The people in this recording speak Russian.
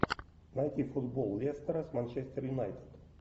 найти футбол лестера с манчестер юнайтед